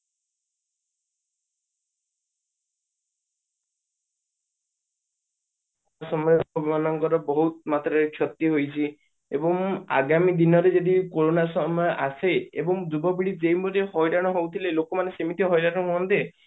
ସମଯ ରେ ଲୋକ ମାନଙ୍କର ବହୁତ ମାତ୍ରା ରେ କ୍ଷତି ହୋଇଛି ଏବଂ ଆଧ୍ୟାତ୍ମିକ ଦିନରେ ଯଦି କୋରୋନା ସମୟ ଆସେ ଏବଂ ଯୁବପିଢି ଯେଉଁଭଳି ହଇରାଣ ହଉଥିଲେ ଲୋକମାନେ ସେମିତି ହଇରାଣ ହୁଅନ୍ତେ